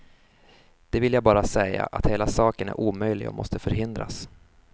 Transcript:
Det vill jag bara säga att hela saken är omöjlig och måste förhindras.